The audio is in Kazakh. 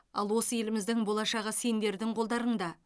ал осы еліміздің болашағы сендердің қолдарыңда